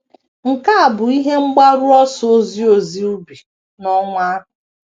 Nke a bụ ihe mgbaru ọsọ ozi ozi ubi n’ọnwa ahụ.